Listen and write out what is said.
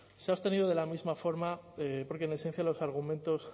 se ha abstenido de la misma forma porque en esencia los argumentos